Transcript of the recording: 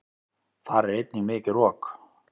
Þar er einnig mikið rok.